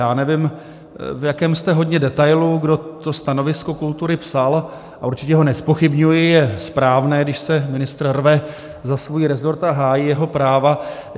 Já nevím, v jakém jste hodně detailu, kdo to stanovisko kultury psal, a určitě ho nezpochybňuji, je správné, když se ministr rve za svůj resort a hájí jeho práva.